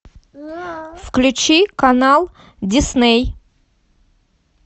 включи канал дисней